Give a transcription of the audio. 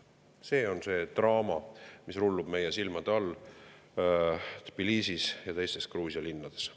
See on see draama, mis rullub meie silmade all Tbilisis ja teistes Gruusia linnades.